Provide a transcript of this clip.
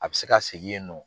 A bɛ se ka segin yen nɔ.